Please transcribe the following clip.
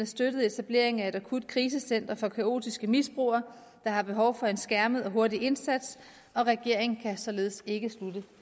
støttet etableringen af et akutkrisecenter for kaotiske misbrugere der har behov for en skærmet og hurtig indsats regeringen kan således ikke støtte